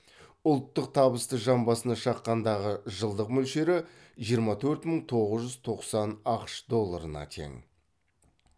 ұлттық табысты жан басына шаққандағы жылдық мөлшелері жиырма төрт мың тоғыз жүз тоқсан ақш долларына тең